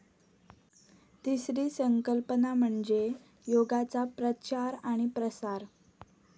तिसरी संकल्पना म्हणजे योगाचा प्रचार आणि प्रसार.